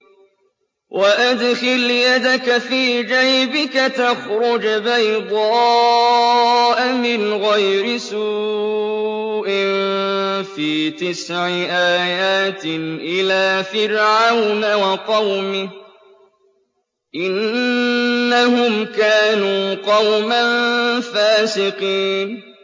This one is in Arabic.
وَأَدْخِلْ يَدَكَ فِي جَيْبِكَ تَخْرُجْ بَيْضَاءَ مِنْ غَيْرِ سُوءٍ ۖ فِي تِسْعِ آيَاتٍ إِلَىٰ فِرْعَوْنَ وَقَوْمِهِ ۚ إِنَّهُمْ كَانُوا قَوْمًا فَاسِقِينَ